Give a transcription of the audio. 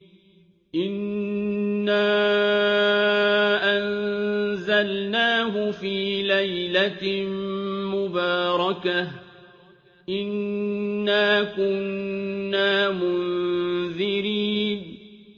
إِنَّا أَنزَلْنَاهُ فِي لَيْلَةٍ مُّبَارَكَةٍ ۚ إِنَّا كُنَّا مُنذِرِينَ